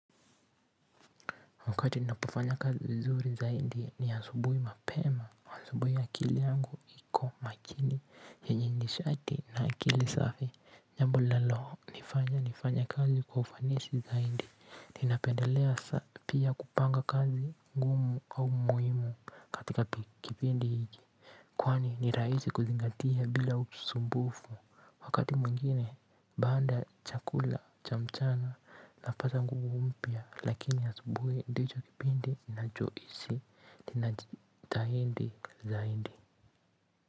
Wakati ninapofanya kazi vizuri zaidi ni asubui mapema. Huwa asubui akili yangu iko makini. Yenye nishati na akili safi. Jambo linaloo nifanya nifanye kazi kwa ufanisi zaidi. Ninapendelea sa pia kupanga kazi ngumu au muhimu katika kipindi hiki. Kwani ni raisi kuzingatia bila usumbufu. Wakati mwingine baanda ya chakula cha mchana napata nguvu mpya. Lakini asubui ndicho kipindi, ninachoisi, ninajitahindi zaindi.